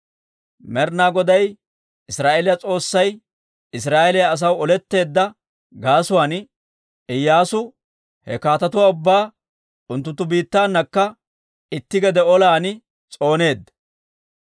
Med'ina Goday Israa'eeliyaa S'oossay Israa'eeliyaa asaw oletteedda gaasuwaan, Iyyaasu he kaatetuwaa ubbaa unttunttu biittaanakka itti gede olan s'ooneedda.